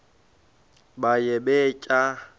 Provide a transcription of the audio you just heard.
baye bee tyaa